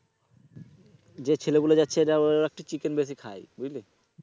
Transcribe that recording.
যে ছেলেগুলো যাচ্ছে এরা একটু chicken বেশি খায় বুঝলি?